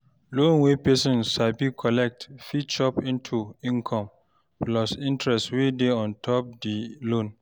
Loan wey person collect fit chop into income, plus interest wey dey on top di loan